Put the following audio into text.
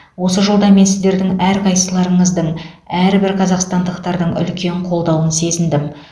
осы жолда мен сіздердің әрқайсыларыңыздың әрбір қазақстандықтың үлкен қолдауын сезіндім